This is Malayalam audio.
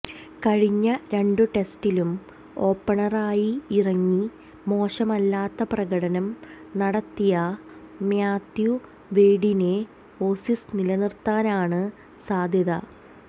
കഴിഞ്ഞ രണ്ടു ടെസ്റ്റിലും ഓപ്പണറായി ഇറങ്ങി മോശമല്ലാത്ത പ്രകടനം നടത്തിയ മാത്യു വെയ്ഡിനെ ഓസീസ് നിലനിര്ത്താനാണ് സാധ്യത